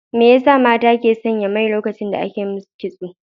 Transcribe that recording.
Me ya sa mata ke sanya mai lokacin da ake yi masu kitso?